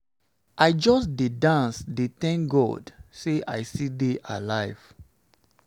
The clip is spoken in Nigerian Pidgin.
i just dey dance dey thank god say i still dey alive